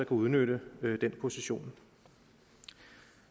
udnytte den position